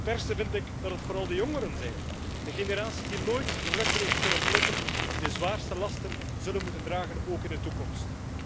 Het ergste vind ik dat het vooral de jongeren zijn, de generatie die nooit de vruchten heeft kunnen plukken, die de zwaarste lasten zullen moeten dragen, ook in de toekomst.